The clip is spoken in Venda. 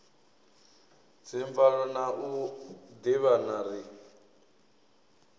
dzimvalo na u ḓivhana ri